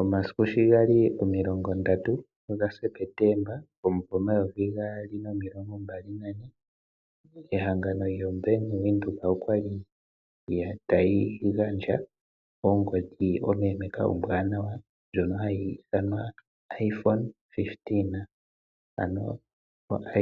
Omasiku shigali omiilongo 30 Septemba 2024 ehangano lyo Bank Windhoek okwali tali gandja ongodhi ompempeka ombwanawa ndjono hayi ithanwa iPhone 15 ano